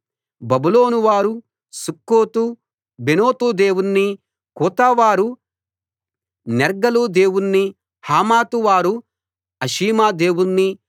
బబులోను వారు సుక్కో తు బెనోతు దేవుణ్ణి కూతా వారు నెర్గలు దేవుణ్ణి హమాతు వారు అషీమా దేవుణ్ణి